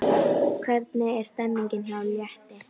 Hvernig er stemningin hjá Létti?